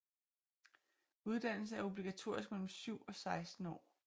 Uddannelse er obligatorisk mellem 7 og 16 år